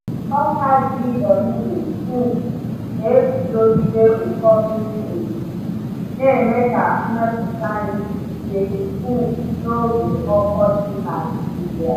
Ọka GMO um na-eguzogide ụkọ mmiri ozuzo, na-eme ka mmepụta nri dịgide um n’oge ọkọchị Nigeria.